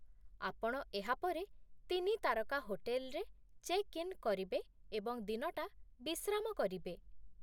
ଆପଣ ଏହା ପରେ ତିନି ତାରକା ହୋଟେଲରେ ଚେକ୍ ଇନ୍ କରିବେ ଏବଂ ଦିନଟା ବିଶ୍ରାମ କରିବେ।